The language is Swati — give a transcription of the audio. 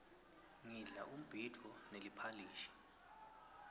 ngidla umbhidvo neliphalishi